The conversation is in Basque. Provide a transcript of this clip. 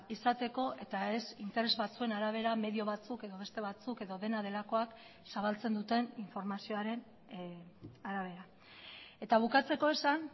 izateko eta ez interes batzuen arabera medio batzuk edo beste batzuk edo dena delakoak zabaltzen duten informazioaren arabera eta bukatzeko esan